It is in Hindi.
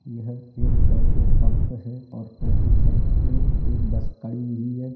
यह एक पेट्रोल पंप है और पेट्रोल पंप पे एक बस कड़ी हुई है।